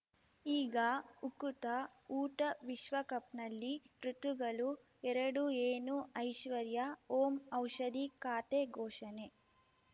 ಈಗ ಉಕುತ ಊಟ ವಿಶ್ವಕಪ್‌ನಲ್ಲಿ ಋತುಗಳು ಎರಡು ಏನು ಐಶ್ವರ್ಯಾ ಓಂ ಔಷಧಿ ಖಾತೆ ಘೋಷಣೆ